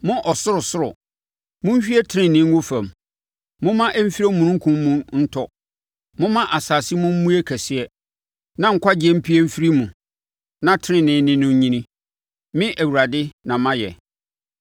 “Mo ɔsorosoro, monhwie tenenee ngu fam; momma ɛmfiri omununkum mu ntɔ momma asase mu mmue kɛseɛ, na nkwagyeɛ mpue mfiri mu, na tenenee ne no nnyini; Me, Awurade na mayɛ.